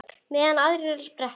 Meðan aðrir fá sér sprett?